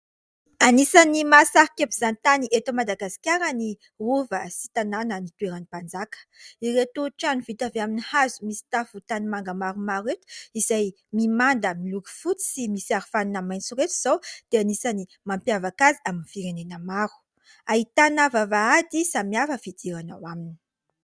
Anisany mahasarika mpizahatany eto Madagasikara ny rova sy tanàna nitoeran'ny mpanjaka, ireto trano vita avy amin'ny hazo misy tafo tanimanga maromaro ireto, izay mimanda miloko fotsy sy misy arofanina maitso ireto izao dia anisany mampiavaka azy amin'ny firenena maro, ahitana vavahady samihafa ny fidirana ao aminy.